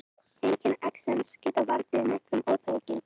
Einkenni exems geta valdið miklum óþægindum.